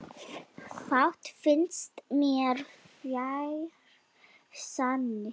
Fátt finnst mér fjær sanni.